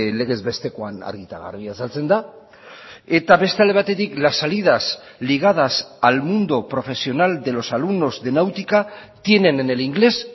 legez bestekoan argi eta garbi azaltzen da eta beste alde batetik las salidas ligadas al mundo profesional de los alumnos de náutica tienen en el inglés